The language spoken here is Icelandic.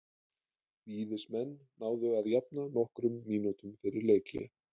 Víðismenn náðu að jafna nokkrum mínútum fyrir leikhlé.